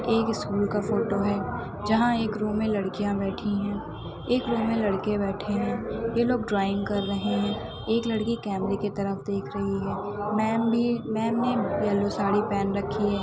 एक स्कूल का फोटो है जहाँ एक रूम मे लड़कियां बैठी हैं एक रूम मे लड़के बैठे हैं ये लोग ड्रॉइंग कर रहे हैं एक लड़की कैमेरे के तरफ देख रही हैं मैम भी मैम ने यलो पहन रखी हैं।